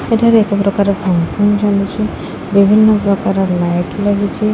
ଏଠାରେ ଏକ ପ୍ରକାର ଫଙ୍କସନ୍ ଚାଲିଚି ବିଭିନ୍ନ ପ୍ରକାରର ଲାଇଟ୍ ଲାଗିଚି।